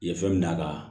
I ye fɛn min d'a kan